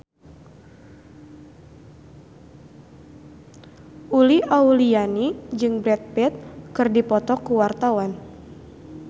Uli Auliani jeung Brad Pitt keur dipoto ku wartawan